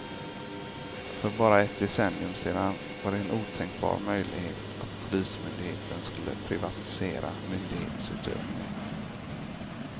För bara ett decennium sedan var det en otänkbar möjlighet att polismyndigheten skulle privatisera myndighetsutövningen.